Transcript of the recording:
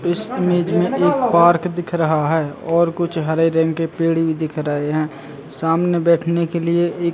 इस इमेज में एक पार्क दिख रहा है और कुछ हरे रंग के पेड़ भी दिख रहे है सामने बैठने के लिए एक --